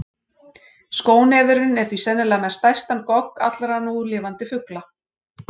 Skónefurinn er því sennilega með stærstan gogg allra núlifandi fugla.